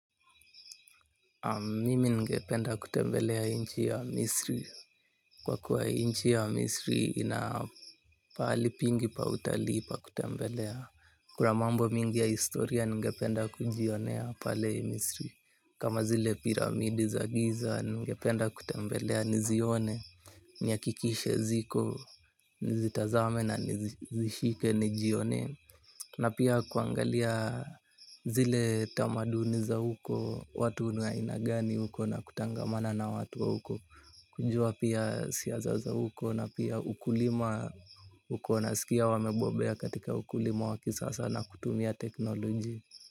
Mimi ningependa kutembelea nchi ya misri kwa kuwa nchi ya misri inapahali pingi pa utalii pa kutembelea. Kuna mambo mingi ya historia ningependa kujionea pale ya misri. Kama zile piramidi za giza ningependa kutembelea nizione. Ni hakikishe ziko nizitazame na nizishike nijionee na pia kuangalia zile tamaduni za huko, watu ni wa aina gani huko na kutangamana na watu wa huko kujua pia siasa huko na pia ukulima huko nasikia wamebobea katika ukulima wa kisasa na kutumia teknolojia.